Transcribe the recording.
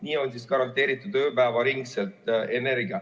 Nii on garanteeritud ööpäevaringne energia.